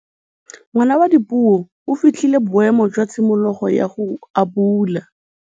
Ngwana wa Dipuo o fitlhile boêmô jwa tshimologô ya go abula.